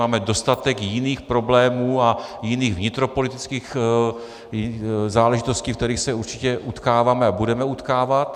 Máme dostatek jiných problémů a jiných vnitropolitických záležitostí, v kterých se určitě utkáváme a budeme utkávat.